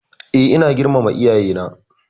E, ina girmama iyayena.